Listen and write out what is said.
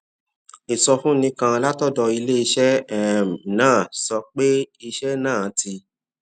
ìsọfúnni kan látọdọ iléeṣẹ um náà sọ pé iṣẹ náà ti